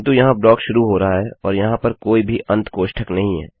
किन्तु यहाँ ब्लॉक यहाँ शुरू हो रहा है और यहाँ पर कोई भी अंत कोष्ठक नहीं है